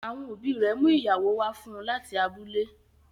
Àwọn òbí rè mú ìyàwó wá fún láti abúlẹ̀.